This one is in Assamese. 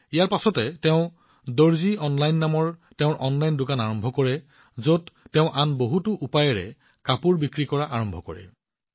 ইয়াৰ পিছত তেওঁ দৰ্জী অনলাইন নামৰ তেওঁৰ অনলাইন দোকান আৰম্ভ কৰে যত তেওঁ আন বহুতো উপায়েৰে কাপোৰ বিক্ৰী কৰা আৰম্ভ কৰে